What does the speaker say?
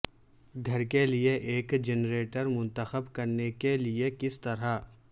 گھر کے لئے ایک جنریٹر منتخب کرنے کے لئے کس طرح